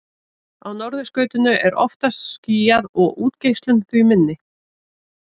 á norðurskautinu er oftar skýjað og útgeislun því minni